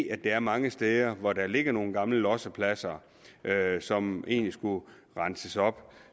at der er mange steder hvor der ligger nogle gamle lossepladser som egentlig skulle renses op